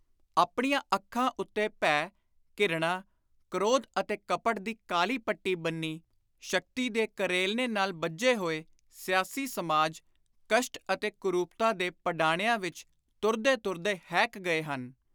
ਆਪਣੀਆਂ ਅੱਖਾਂ ਉੱਤੇ ਭੈ, ਘਿਰਣਾ, ਕ੍ਰੋਧ ਅਤੇ ਕਪਟ ਦੀ ਕਾਲੀ ਪੱਟੀ ਬੰਨ੍ਹੀ, ਸ਼ਕਤੀ ਦੇ ਕਲੇਰਨੇ ਨਾਲ ਬੱਝੇ ਹੋਏ ਸਿਆਸੀ ਸਮਾਜ, ਕਸ਼ਟ ਅਤੇ ਕੁਰੁਪਤਾ ਦੇ ਪਡਾਣਿਆਂ ਵਿਚ ਤੁਰਦੇ ਤੁਰਦੇ ਹੈਕ ਗਏ ਹਨ।